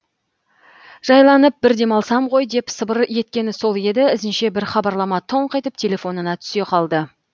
жайланып бір демалсам ғой деп сыбыр еткені сол еді ізінше бір хабарлама тоңқ етіп телефонына түсе қалды